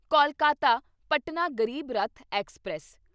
Kolkata Patna Garib Rath express